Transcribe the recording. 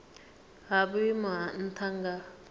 ha vhuimo ha nha nga